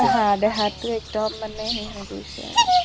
হা দেহাতো একদম মানে সেই হৈ গৈছে আৰু ।